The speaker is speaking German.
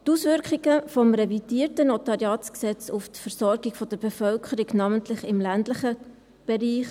die Auswirkungen des revidierten NG auf die Versorgung der Bevölkerung sollen überprüft werden, namentlich im ländlichen Bereich.